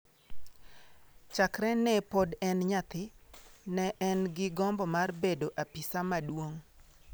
Chakre ne pod en nyathi, ne en gi gombo mar bedo apisa maduong’.